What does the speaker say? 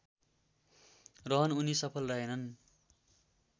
रहन उनी सफल रहेनन्